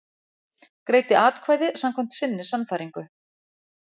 Greiddi atkvæði samkvæmt sinni sannfæringu